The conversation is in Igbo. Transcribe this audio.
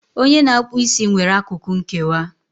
Onye na-akpụ isi nwere akụkụ nkewa